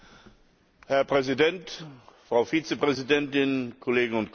Herr Präsident, Frau Vizepräsidentin, Kolleginnen und Kollegen!